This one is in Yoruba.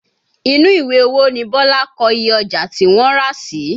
Inú ìwé owó ni Bọlá kọ iye ọjà tí wọ́n rà sí